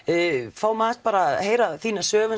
fáum aðeins að heyra þína sögu